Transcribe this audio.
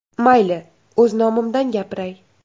Mayli, o‘z nomimdan gapiray.